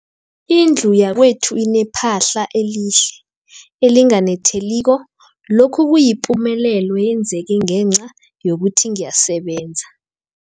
Indlu yakwethu inephahla elihle, elinganetheliko, lokhu kuyipumelelo eyenzeke ngenca yokuthi ngiyasebenza.